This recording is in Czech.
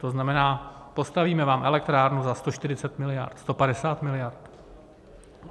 To znamená: postavíme vám elektrárnu za 140 miliard, 150 miliard.